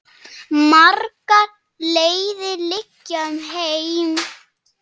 Margar leiðir liggja um heim.